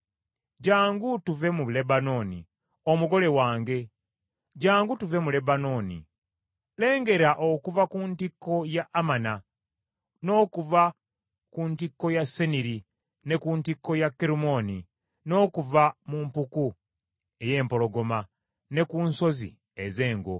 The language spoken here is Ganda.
Jjangu tuve mu Lebanooni, omugole wange, jjangu tuve mu Lebanooni. Lengera okuva ku ntikko ya Amana, n’okuva ku ntikko ya Seniri ne ku ntikko ya Kerumooni, n’okuva mu mpuku ey’empologoma, ne ku nsozi ez’engo.